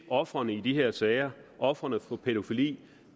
ofrene i de her sager ofrene for pædofili